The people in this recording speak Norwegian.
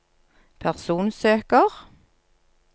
personsøker